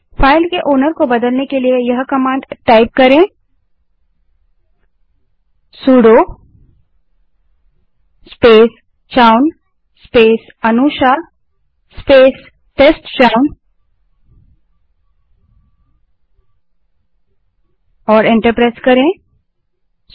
file के मालिकओनर को बदलने के लिए सुडो स्पेस c ह own space that is a n u s h आ Anusha space test chown that is t e s t c h o w n command type करें और एंटर दबायें